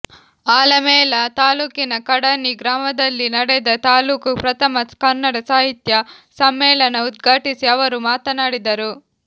ಆಲಮೇಲ ತಾಲೂಕಿನ ಕಡಣಿ ಗ್ರಾಮದಲ್ಲಿನಡೆದ ತಾಲೂಕು ಪ್ರಥಮ ಕನ್ನಡ ಸಾಹಿತ್ಯ ಸಮ್ಮೇಳನ ಉದ್ಘಾಟಿಸಿ ಅವರು ಮಾತನಾಡಿದರು